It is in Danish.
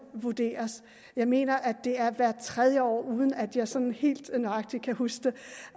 vurderes jeg mener at det er hvert tredje år uden at jeg sådan helt nøjagtigt kan huske det